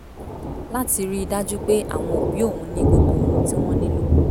láti rí i dájú pé àwọn òbí òun ní gbogbo ohun tí wọ́n nílò